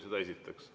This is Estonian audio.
Seda esiteks.